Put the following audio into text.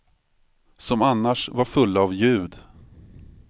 Som annars var fulla av ljud.